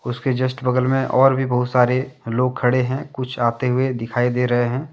उसके जस्ट बगल मे और भी बहुत सारे लोग खड़े हैं कुछ आते हुए दिखाई दे रहे हैं।